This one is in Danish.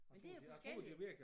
Men det jo forskelligt